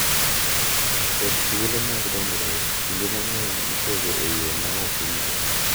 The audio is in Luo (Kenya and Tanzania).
Kod thuolo mag dongruok kinde mang’eny ipogo e yo ma ok owinjore,